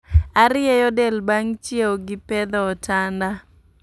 Arieyo del bang' chiew gi pedho otanda